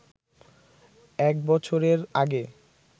এক বছরের আগে